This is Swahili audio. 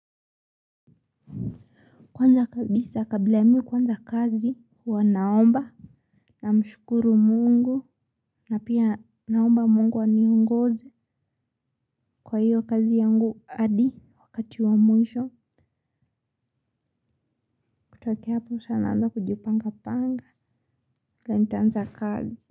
Kwanza kabisa kabla mi kuanza kazi hua naomba namshukuru mungu na pia naomba mungu aniongoze kwa hiyo kazi yangu hadi wakati wa mwisho. Kutokea hapo sa naanza kujipanga panga kwa nitaanza kazi.